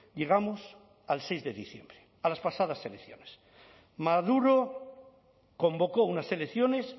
llegamos al seis de diciembre a las pasadas elecciones maduro convocó unas elecciones